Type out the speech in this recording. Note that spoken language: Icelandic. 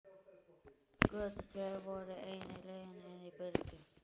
Götin tvö voru eina leiðin inn í byrgið.